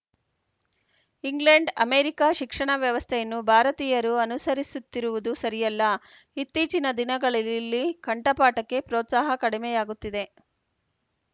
England America ಶಿಕ್ಷಣ ವ್ಯವಸ್ಥೆಯನ್ನು ಭಾರತೀಯರು ಅನುಸರಿಸುತ್ತಿರುವುದು ಸರಿಯಲ್ಲ ಇತ್ತೀಚಿನ ದಿನಗಳಳಲ್ಲಿ ಕಂಠಪಾಠಕ್ಕೆ ಪ್ರೋತ್ಸಾಹ ಕಡಿಮೆಯಾಗುತ್ತಿದೆ